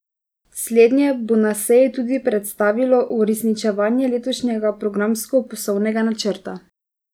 Slednje bo na seji tudi predstavilo uresničevanje letošnjega programsko poslovnega načrta.